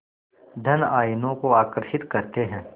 धन आयनों को आकर्षित करते हैं